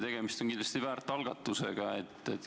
Tegemist on kindlasti väärt algatusega.